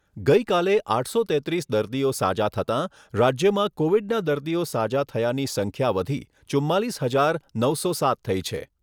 ગઈકાલે આઠસો તેત્રીસ દર્દીઓ સાજા થતાં, રાજ્યમાં કોવિડના દર્દીઓ સાજા થયાની સંખ્યા વધી ચુંમાલીસ હજાર નવસો સાત થઈ છે.